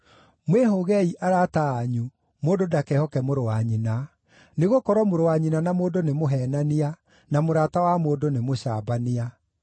“Mwĩhũgei arata anyu; mũndũ ndakehoke mũrũ wa nyina. Nĩgũkorwo mũrũ wa nyina na mũndũ nĩ mũheenania, na mũrata wa mũndũ nĩ mũcambania.